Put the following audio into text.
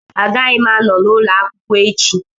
Agaghị m anọ n'ụlọ akwụkwọ echi